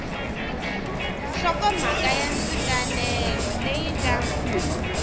nhlokomhaka ya ndzinganelo leyi nga